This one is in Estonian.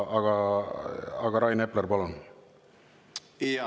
Aga Rain Epler, palun!